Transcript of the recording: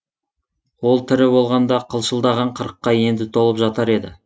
ол тірі болғанда қылшылдаған қырыққа енді толып жатар еді